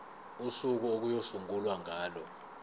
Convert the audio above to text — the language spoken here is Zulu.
usuku okuyosungulwa ngalo